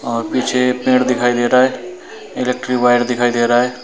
और पीछे पेड़ दिखाई दे रहा है इलेक्ट्रिक वायर दिखाई दे रहा है।